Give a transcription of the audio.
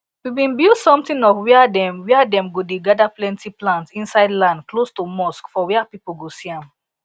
we bin build somtin of wia dem wia dem go dey gada plenti plants insid land close to mosque for wia people go see am